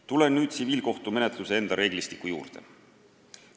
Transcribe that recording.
Tulen nüüd tsiviilkohtumenetluse enda reeglistiku juurde.